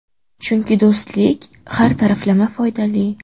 Chunki do‘stlik har taraflama foydali.